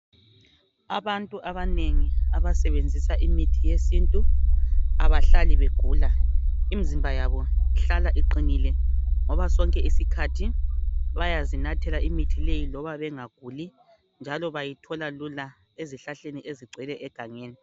Abantu abanengi abasebenzisa imithi yesintu, abahlali begula. Imzimba yabo ihlala iqinile ngoba sonke isikhathi bayazinathela imithi leyi loma bengaguli, njalo bayithola lula ezihlahleni ezigcwele egangeni.